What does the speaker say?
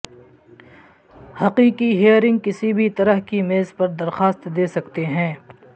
حقیقی ہیرنگ کسی بھی طرح کی میز پر درخواست دے سکتے ہیں